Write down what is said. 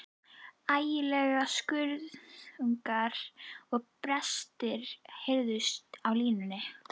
Ægilegir skruðningar og brestir heyrðust á línunni.